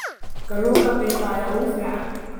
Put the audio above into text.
Kalluunka qiiqa ayaa ugu fiican.